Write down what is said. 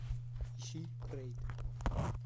ищи рейд